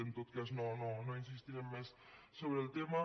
en tot cas no insistirem més sobre el tema